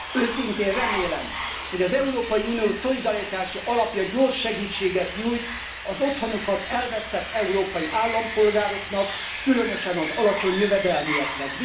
Őszintén remélem, hogy az Európai Unió szolidaritási alapja gyors segítséget nyújt az otthonukat elvesztett európai állampolgároknak, különösen az alacsony jövedelműeknek.